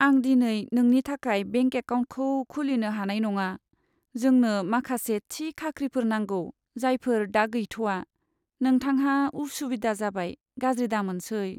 आं दिनै नोंनि थाखाय बेंक एकाउन्टखौ खुलिनो हानाय नङा। जोंनो माखासे थि खाख्रिफोर नांगौ जायफोर दा गैथवा। नोंथांहा उसुबिदा जाबाय, गाज्रि दामोनसै।